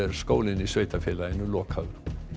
skólinn í sveitarfélaginu lokaður